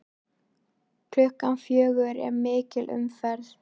Klukkan fjögur er mikil umferð.